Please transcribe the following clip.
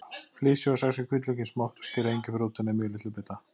Flysjið og saxið hvítlaukinn smátt og skerið engiferrótina í mjög litla bita.